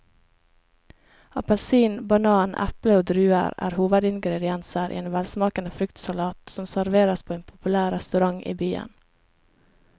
Appelsin, banan, eple og druer er hovedingredienser i en velsmakende fruktsalat som serveres på en populær restaurant i byen.